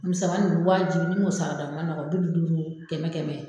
Misɛnmanin ninnu wajibi n'i m'o sarada ma nɔgɔn bi duduuru kɛmɛkɛmɛ.